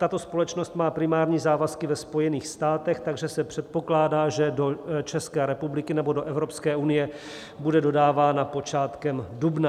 Tato společnost má primární závazky ve Spojených státech, takže se předpokládá, že do České republiky nebo do Evropské unie bude dodáváno počátkem dubna.